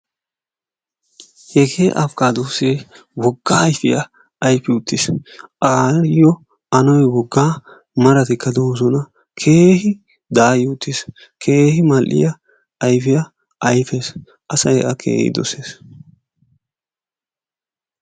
Issi abbokkaadoosse wogga ayfiya ayfii uttiis, ayo anoy woggaa marttikka de'oosona, keehi daayi uttiis, keehi mal'iya ayfiya ayfees, asay a keehi dossees.